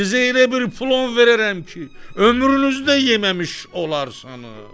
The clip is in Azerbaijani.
Sizə elə bir plov verərəm ki, ömrünüzdə yeməmiş olarsınız.